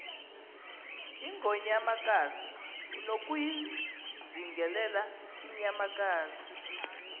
ingonyamakazi unokuyizingelela inyamakazi